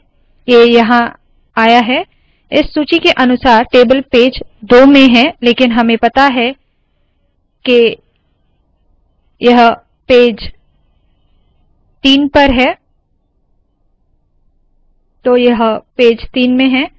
ये यहाँ आया है इस सूची के अनुसार टेबल पेज दो में है लेकिन हमें पता है के यह पेज तीन पर है तो यह पेज तीन में है